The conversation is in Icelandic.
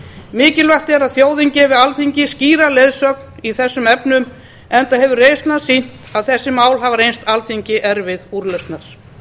mikilvægt er að þjóðin gefi alþingi skýra leiðsögn í þessum efnum enda hefur reynslan sýnt að þessi mál hafa reynst alþingi erfið úrlausnar